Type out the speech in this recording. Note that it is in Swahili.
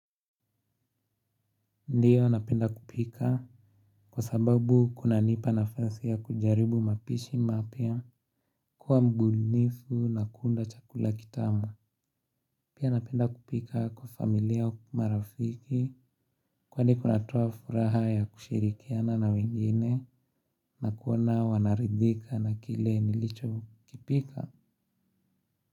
Ndiyo napenda kupika kwa sababu kunanipa nafasi ya kujaribu mapishi mapya kuwa mbunifu na kuunda chakula kitamu. Pia napenda kupika kwa familia au marafiki kwani kunatoa furaha ya kushirikiana na wengine na kuona wanaridhika na kile nilichokipika.